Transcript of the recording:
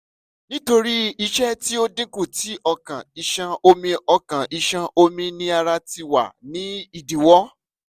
nítorí iṣẹ́ tí ó dínkù tí ọkàn iṣan omi ọkaàn iṣan omi ni ara ti wà ní ìdíwọ́